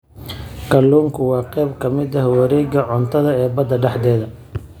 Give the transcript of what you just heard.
Kalluunku waa qayb ka mid ah wareegga cuntada ee badda dhexdeeda.